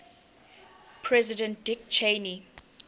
president dick cheney